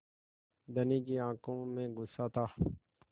धनी की आँखों में गुस्सा था